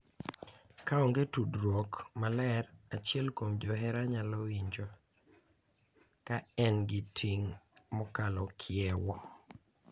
Ka onge tudruok maler, achiel kuom johera nyalo winjo ka en gi ting’ mokalo kiewo,